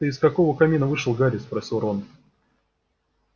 ты из какого камина вышел гарри спросил рон